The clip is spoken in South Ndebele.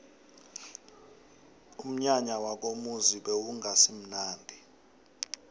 umnyanya wakomuzi bewungasimunandi